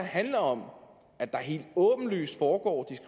handler om at der helt åbenlyst foregår